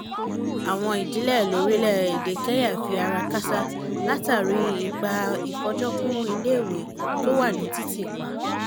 àwọn ìdílé lórílẹ̀-èdè kenya fi ara kááṣá látàrí ipa ìfọjọ́-kún ilé-iwé tí ó wà ní títì pa